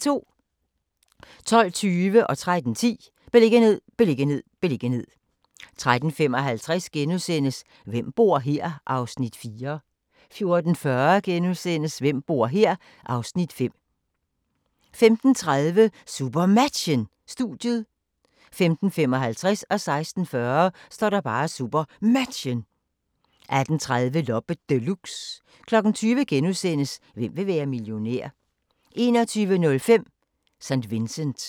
12:20: Beliggenhed, beliggenhed, beliggenhed 13:10: Beliggenhed, beliggenhed, beliggenhed 13:55: Hvem bor her? (Afs. 4)* 14:40: Hvem bor her? (Afs. 5)* 15:30: SuperMatchen: Studiet 15:55: SuperMatchen 16:40: SuperMatchen 18:30: Loppe Deluxe 20:00: Hvem vil være millionær? * 21:05: St. Vincent